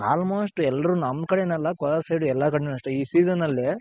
Almost ಎಲ್ರು ನಮ್ ಕಡೆ ಏನಲ್ಲ ಕೋಲಾರ್ side ಎಲ್ಲ ಕಡೆನು ಅಷ್ಟೆ ಇ season ನಲ್ಲಿ.